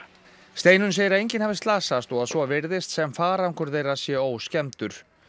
Steinunn segir að enginn hafi slasast og að svo virðist sem farangur þeirra sé óskemmdur